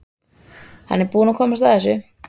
Hann er búinn að komast að þessu.